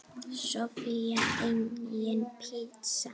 Soffía: Engin pizza.